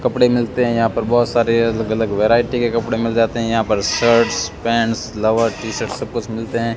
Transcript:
कपड़े मिलते है यहां पर बहोत सारे अलग अलग वेरायटी के कपड़े मिल जाते है यहां पर शर्ट्स पैंट्स लोअर टी-शर्ट सब कुछ मिलते है।